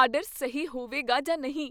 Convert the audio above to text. Order ਸਹੀ ਹੋਵੇਗਾ ਜਾਂ ਨਹੀਂ।